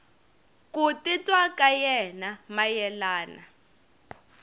ku titwa ka yena mayelana